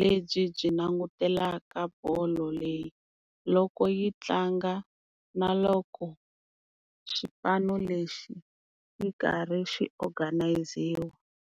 lebyi byi langutelaka bolo leyi loko yi tlanga na loko xipano lexi yi karhi xi organise-iwa.